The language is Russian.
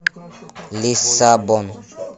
лиссабон